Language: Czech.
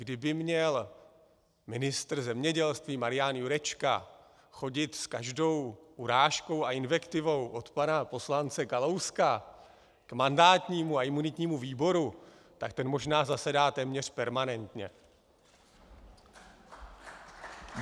Kdyby měl ministr zemědělství Marian Jurečka chodit s každou urážkou a invektivou od pana poslance Kalouska k mandátnímu a imunitnímu výboru, tak ten možná zasedá téměř permanentně.